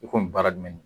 I komi baara jumɛn de don